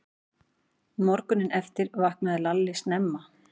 Morguninn eftir vaknaði Lalli snemma.